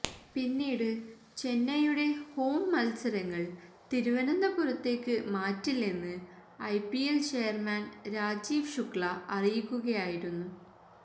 പിന്നീട് ചെന്നൈയുടെ ഹോം മൽസരങ്ങള് തിരുവനന്തപുരത്തേക്ക് മാറ്റില്ലെന്ന് ഐപിഎല് ചെയര്മാന് രാജീവ് ശുക്ല അറിയിക്കുകയായിരുന്നു